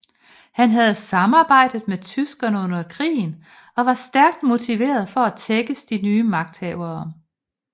Han havde samarbejdet med tyskerne under krigen og var stærkt motiveret for at tækkes de nye magthavere